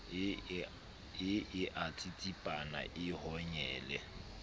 e a tsitsipana e honyele